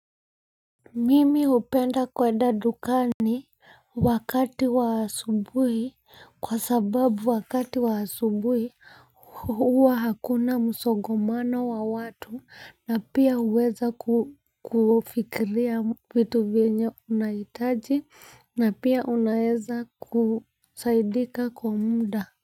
Mimi hupenda kwenda dukani wakati wa asubuhi kwa sababu wakati wa asubuhi huwa hakuna msongamano wa watu na pia huweza kufikiria vitu vyenye unahitaji na pia unaeza kusaidika kwa muda.